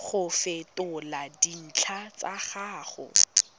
go fetola dintlha tsa gago